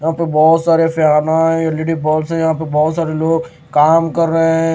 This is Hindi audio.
यहां पे बहुत सारे पियानो हैं एल_ई_डी बॉल से यहां पे बहुत सारे लोग काम कर रहे हैं।